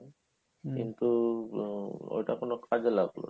কিন্তু আ~ ঐটা কোনো কাজে লাগলো না